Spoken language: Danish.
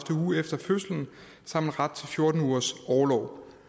uge efter fødslen har man ret til fjorten ugers orlov